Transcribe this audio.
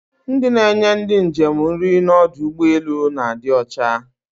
Ndị na-enye ndị njem nri n'ọdụ ụgbọelu na-adị ọcha